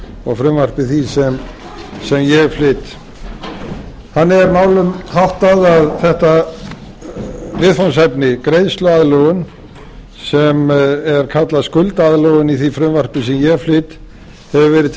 og frumvarpi því sem ég flyt þannig er málum háttað að þetta viðfangsefni greiðsluaðlögun sem er kallað skuldaaðlögun í því frumvarpi sem ég flyt hefur verið til